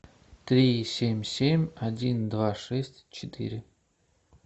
три семь семь один два шесть четыре